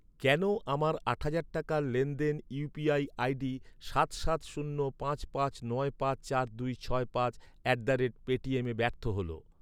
কেন আমার আট হাজার টাকার লেনদেন ইউ.পি.আই আই.ডি সাত সাত শূন্য পাঁচ পাঁচ নয় পাঁচ চার দুই ছয় পাঁচ অ্যাট দ্য রেট পেটিএমে ব্যর্থ হল?